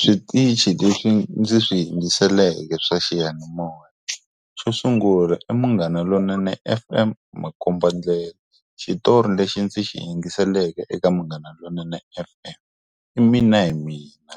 Switichi leswi ndzi swi hi yingiseleke swa xiyanimoya. Xo sungula, i Munghana Lonene F_M makombandlela. Xitori lexi ndzi xi hi yingiseleke eka Munghana Lonene F_M, i mina hi mina.